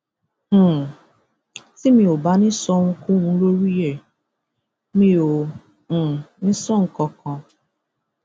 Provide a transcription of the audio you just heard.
um tí mi ò bá ní í sọ ohunkóhun lórí ẹ mi ò um ní í sọ nǹkan kan